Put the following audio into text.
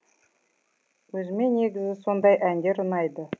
өзіме негізі сондай әндер ұнайды